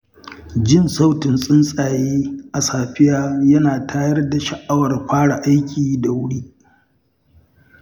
Jin sautin tsuntsaye a safiya yana tayar da sha’awar fara aiki da wuri.